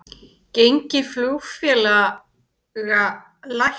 Gengi flugfélaga lækkar